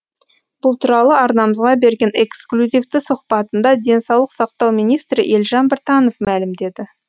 бұл туралы арнамызға берген эксклюзивті сұхбатында денсаулық сақтау министрі елжан біртанов мәлімдеді